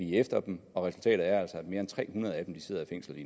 efter dem og resultatet er altså at mere end tre hundrede af dem sidder i fængsel